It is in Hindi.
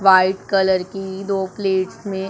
व्हाइट कलर की दो प्लेट में--